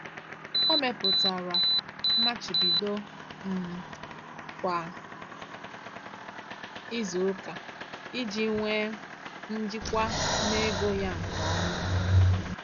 Ọ mepụtara mmachibido um kwa izuụka iji nwe njikwa n'ego ya nke ọma.